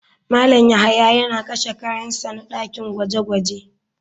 Malam yahya yana kashe kayan sa na dakin gwaje-gwaje.